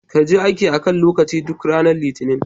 Kaje aiki a kan lokaci duk ranar litinin.